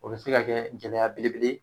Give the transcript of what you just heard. Olu bɛ se ka kɛ gɛlɛya belebele ye